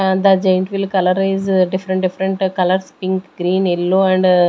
ah the giant wheel colour is different different colours pink green yellow and ah --